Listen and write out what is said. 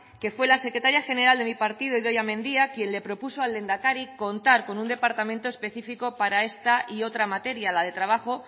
que fue la secretaria general de mi partido idoia mendia quien le propuso al lehendakari contar con un departamento específico para esta y otra materia la de trabajo